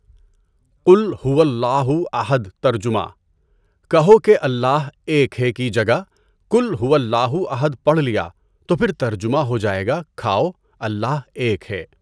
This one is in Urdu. قُلْ هُوَ اللّٰهُ اَحَد ترجمہ، کہو کہ اللّٰہ ایک ہے، کی جگہ "کُلْ هُوَ اللّٰهُ اَحَد" پڑھ ليا تو پھر ترجمہ ہو ائے گا، کھائو، اللّٰہ ایک ہے۔